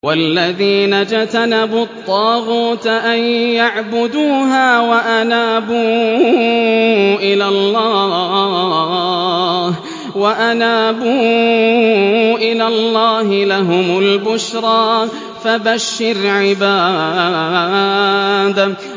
وَالَّذِينَ اجْتَنَبُوا الطَّاغُوتَ أَن يَعْبُدُوهَا وَأَنَابُوا إِلَى اللَّهِ لَهُمُ الْبُشْرَىٰ ۚ فَبَشِّرْ عِبَادِ